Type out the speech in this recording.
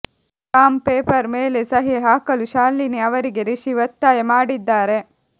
stamp paper ಮೇಲೆ ಸಹಿ ಹಾಕಲು ಶಾಲಿನಿ ಅವರಿಗೆ ರಿಷಿ ಒತ್ತಾಯ ಮಾಡಿದ್ದಾರೆ